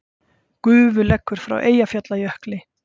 Gufu leggur frá Eyjafjallajökli